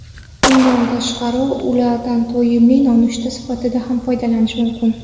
Bundan tashqari, ulardan to‘yimli nonushta sifatida ham foydalanish mumkin.